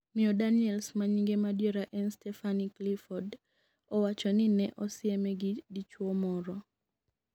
miyo Daniels ma nyinge madiera en Stepahanie Clifford owacho ni ne osieme gi dichuwo moro